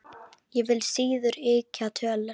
Ég vil síður ýkja tölur.